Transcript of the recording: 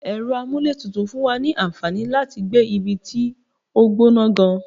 Ẹ̀rọ amúlétutù fún wa ní àǹfàní láti gbé ibi tó gbọ́nà gan-an.